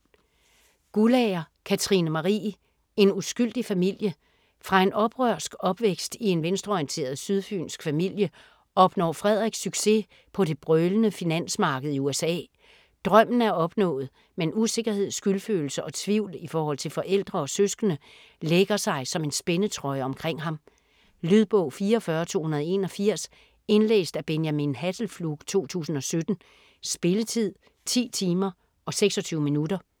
Guldager, Katrine Marie: En uskyldig familie Fra en oprørsk opvækst i en venstreorienteret sydfynsk familie opnår Frederik succes på det brølende finansmarked i USA. Drømmen er opnået, men usikkerhed, skyldfølelse og tvivl i forhold til forældre og søskende lægger sig som en spændetrøje omkring ham. Lydbog 44281 Indlæst af Benjamin Hasselflug, 2017. Spilletid: 10 timer, 26 minutter.